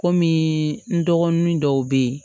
Kɔmi n dɔgɔnin dɔw be yen